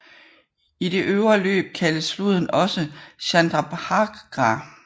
I det øvre løb kaldes floden også Chandrabhaga